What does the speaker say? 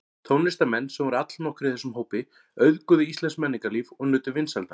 Tónlistarmenn, sem voru allnokkrir í þessum hópi, auðguðu íslenskt menningarlíf og nutu vinsælda.